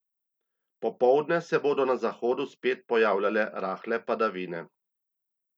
Popoldne se bodo na zahodu spet pojavljale rahle padavine.